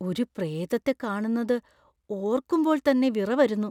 ഒരു പ്രേതത്തെ കാണുന്നത് ഓർക്കുമ്പോൾ തന്നെ വിറ വരുന്നു.